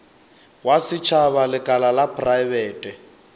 wa setšhaba lekala la praebete